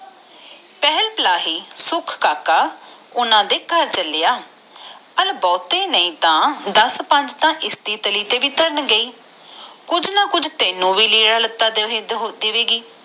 ਪਰ ਤਝਹੋਰੀ ਸੁਮਣੀ ਆ ਪਰ ਸਾਡੇ ਨਾਲ ਥੋੜ੍ਹਾ ਸਿਉਂ ਪੁਣਾ ਕਰਨਾ ਆ ਪਰ ਤਝਹੋਰੀ ਸੁਮਣੀ ਆ ਪਰ ਸਾਡੇ ਨਾਲ ਥੋੜ੍ਹਾ ਸਿਉਂ ਪੁਣਾ ਕਰਨਾ ਆ